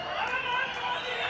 Qarabağın qazidir!